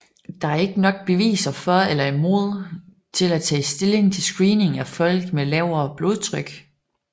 Der er ikke nok beviser for eller imod til at tage stilling til screening af folk med lavere blodtryk